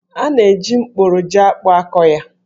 A na-eji mkporo jí-akpụ akọ ya